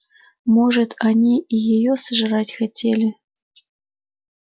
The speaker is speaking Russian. может они и её сожрать хотели